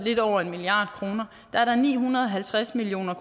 lidt over en milliard kroner ni hundrede og halvtreds million